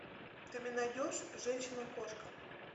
ты мне найдешь женщина кошка